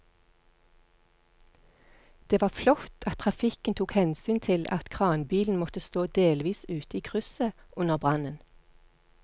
Det var flott at trafikken tok hensyn til at kranbilen måtte stå delvis ute i krysset under brannen.